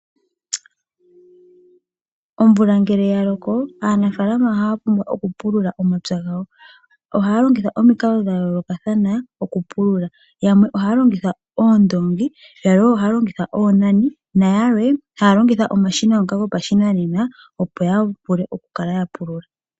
Omvula ngele yaloko aanafaalama ohaya pumbwa okupulula omapya gawo. Ohaya longitha omikalo dhayoolokathana okupulula. Yamwe ohaya longitha oondoongi, oonani nayalwe ohaya longitha omashina gopashinanena ya vule okukala yapulula.